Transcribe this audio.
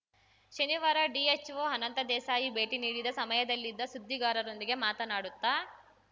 ಶನಿವಾರ ಡಿಎಚ್‍ಓ ಅನಂತ ದೇಸಾಯಿ ಭೇಟಿ ನೀಡಿದ ಸಮಯದಲ್ಲಿದ್ದ ಸುದ್ದಿಗಾರರೊಂದಿಗೆ ಮಾತನಾಡುತ್ತ